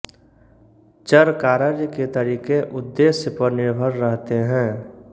चरकारर्य के तरीके उद्देश्य पर निर्भर रहते हैं